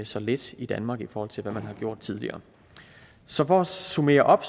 så lidt i danmark i forhold til hvad man har gjort tidligere så for at summere op